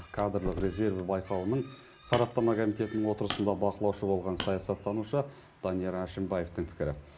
кадрлық резерві байқауының сараптама комитетінің отырысында бақылаушы болған саясаттанушы данияр әшімбаевтың пікірі